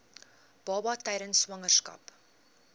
baba tydens swangerskap